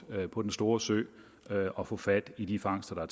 på den store sø og få fat i de fangster der